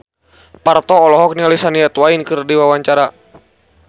Parto olohok ningali Shania Twain keur diwawancara